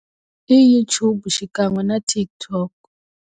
I YouTube xinkan'we na TikTok.